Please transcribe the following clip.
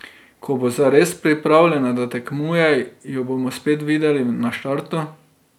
Ko bo zares pripravljena, da tekmuje, jo bomo spet videli na štartu.